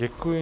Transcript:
Děkuji.